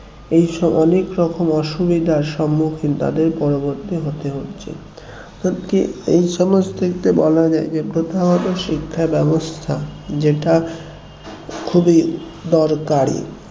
এইসব অনেক রকম অসুবিধার সম্মুখীন তাদের পরবর্তী হতে হচ্ছে অর্থাৎ কি এই সমাজ থেকে বলা যায় যে প্রথাগত শিক্ষা ব্যবস্থা যেটা খুবই দরকারী